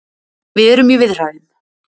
Við erum í viðræðum